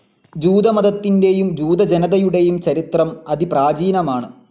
ജൂതമതത്തിൻ്റെയും ജൂത ജനതയുടെയും ചരിത്രം അതിപ്രാചീനമാണ്.